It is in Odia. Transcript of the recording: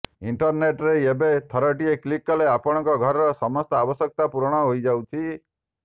ଇଣ୍ଟରନେଟ୍ ରେ ଏବେ ଥରଟିଏ କ୍ଲିକ୍ କଲେ ଆପଣଙ୍କ ଘରର ସମସ୍ତ ଆବଶ୍ୟକତା ପୂରଣ ହୋଇଯାଉଛି